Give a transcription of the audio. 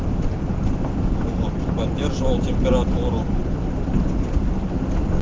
поддерживал температуру